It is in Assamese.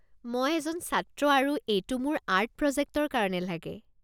মই এজন ছাত্ৰ আৰু এইটো মোৰ আৰ্ট প্ৰজেক্টৰ কাৰণে লাগে।